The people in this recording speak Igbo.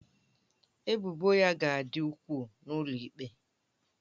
Ebubo ya ga-adị ukwuu n'ụlọ ikpe